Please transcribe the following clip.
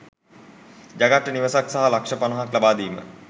ජගත්ට නිවසක් සහ ලක්ෂ පණහක් ලබාදීම